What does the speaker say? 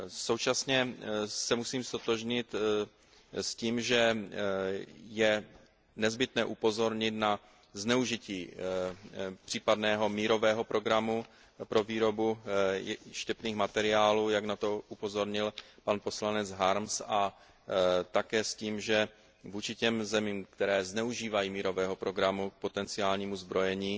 Současně se musím ztotožnit s tím, že je nezbytné upozornit na zneužití případného mírového programu pro výrobu štěpných materiálů, jak na to upozornila paní poslankyně Harms, a také s tím, že vůči těm zemím, které zneužívají mírového programu k potenciálnímu zbrojení,